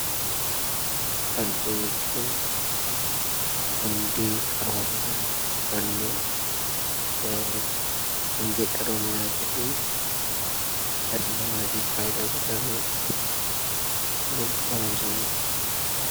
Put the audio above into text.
Barumsa jechuun hundee qaroominaa yookaan immoo hundee qaroominaa ta'ee, dhala namaatiif faayidaa guddaa kan qabu inni kunimmoo barumsa jenna.